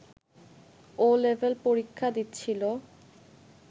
'ও' level পরীক্ষা দিচ্ছিল